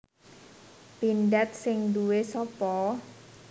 Pindad sing nduwe sopo